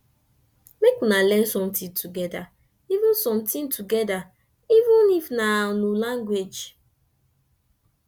mek una learn somtin togeda even somtin togeda even if na nu language